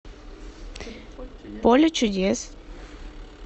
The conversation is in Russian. поле чудес